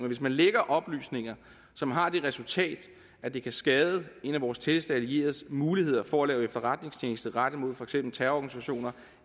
hvis man lækker oplysninger som har det resultat at det kan skade en af vore tætteste allieredes muligheder for at lave efterretningstjeneste rettet mod for eksempel terrororganisationer